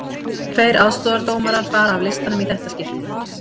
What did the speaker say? Tveir aðstoðardómarar fara af listanum í þetta skiptið.